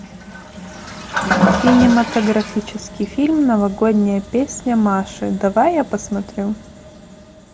кинематографический фильм новогодняя песня маши давай я посмотрю